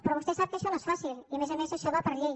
però vostè sap que això no és fàcil i a més a més això va per llei